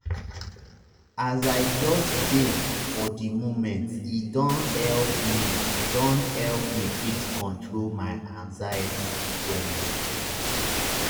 as i just dey for di momente don help me don help me fit control my anxiety wella.